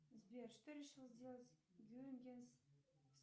сбер что решил сделать